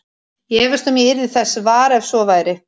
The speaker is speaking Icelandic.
Ég efast um að ég yrði þess var, ef svo væri